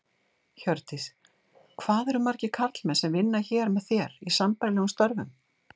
Hjördís: Hvað eru margir karlmenn sem vinna hér með þér, í sambærilegum störfum?